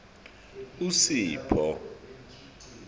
usipho